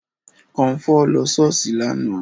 Kọmfọ́ lọ ṣọ́ọ̀ṣì lánàá